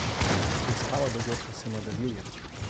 Preiskava dogodka se nadaljuje.